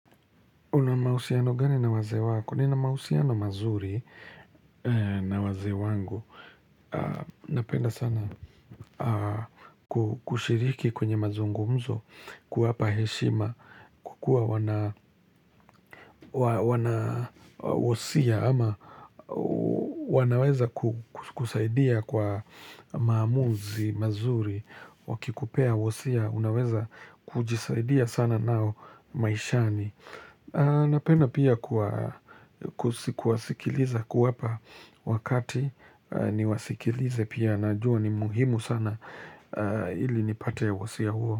Unamahusiano gani na wazee wako? Nina mahusiano mazuri na wazee wangu. Napenda sana kushiriki kwenye mazungumzo kuwapa heshima, kukuawana wanawosia ama wanaweza kusaidia kwa maamuzi mazuri. Wakikupea wosia, unaweza kujisaidia sana nao maishani. Napenda pia kuwasikiliza kuwapa wakati niwasikilize pia na jua ni muhimu sana ili nipate wosia huo.